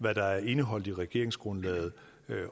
hvad der er indeholdt i regeringsgrundlaget